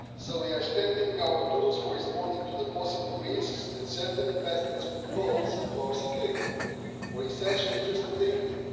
We are strengthening our tools for responding to the possible risks that certain investments could pose to our security or essential interests of the Union.